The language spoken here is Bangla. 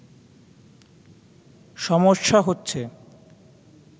সমস্যা হচ্ছে